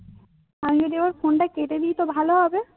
আমি যদি আমার phone টা কেটে দিই তো ভালো হবে.